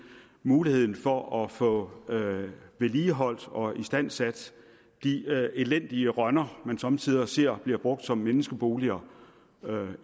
muligheden for at få vedligeholdt og istandsat de elendige rønner man somme tider ser bliver brugt som menneskeboliger